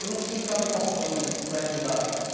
Eu não preciso ficar me forçando para estudar.